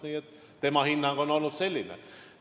Ja tema hinnang on olnud selline.